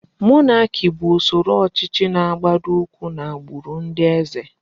Mọnaki bụ usoro ọchịchị na-agbado ụkwụ n'agbụrụ ndị eze.